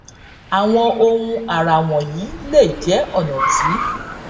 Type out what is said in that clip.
àwọn ohun àrà wọnyí lè jẹ ọnà tí